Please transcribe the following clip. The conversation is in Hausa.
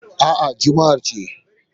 A'a, Juma'a ce